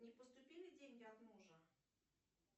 не поступили деньги от мужа